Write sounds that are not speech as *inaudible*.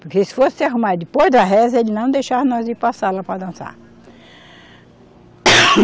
Porque se fosse se arrumar depois da reza, ele não deixava nós ir para a sala para dançar. *coughs*